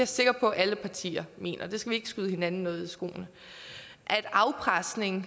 sikker på at alle partier mener der skal vi ikke skyde hinanden noget i skoene afpresning